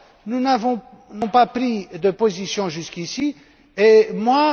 Nous n'avons pas pris de position jusqu'ici et moi...